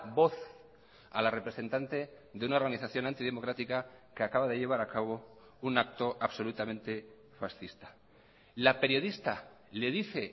voz a la representante de una organización antidemocrática que acaba de llevar a cabo un acto absolutamente fascista la periodista le dice